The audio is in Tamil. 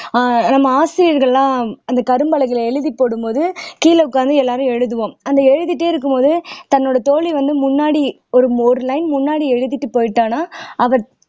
ஆஹ் நம்ம ஆசிரியர்கள் எல்லாம் அந்த கரும்பலகைல எழுதி போடும் போது கீழ உக்காந்து எல்லாரும் எழுதுவோம் அந்த எழுதிட்டே இருக்கும்போது தன்னோட தோழி வந்து முன்னாடி ஒரு ஒரு line முன்னாடி எழுதிட்டு போயிட்டானா அவ